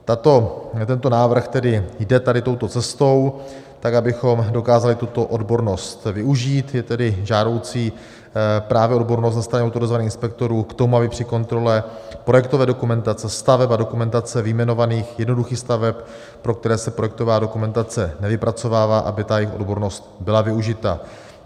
Tento návrh tedy jde tady touto cestou, tak abychom dokázali tuto odbornost využít, je tedy žádoucí právě odbornost ze strany autorizovaných inspektorů k tomu, aby při kontrole projektové dokumentace staveb a dokumentace vyjmenovaných jednoduchých staveb, pro které se projektová dokumentace nevypracovává, aby ta jejich odbornost byla využita.